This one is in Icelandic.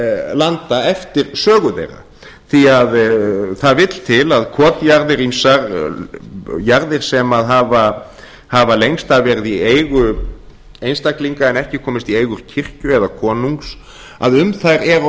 landa eftir sögu þeirra því það vill til að kotjarðir ýmsar jarðir sem hafa lengst af verið í eigu einstaklinga en ekki komist í eigu kirkju eða konungs að um þær eru